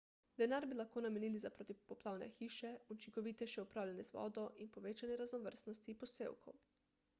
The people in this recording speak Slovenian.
denar bi lahko namenili za protipoplavne hiše učinkovitejše upravljanje z vodo in povečanje raznovrstnosti posevkov